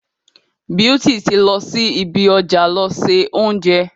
Beauty ti lọ sí ibi ọjà lọ se oúnjẹ.